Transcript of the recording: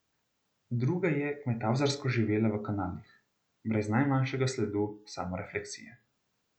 Druga je kmetavzarsko živela v kanalih, brez najmanjšega sledu samorefleksije.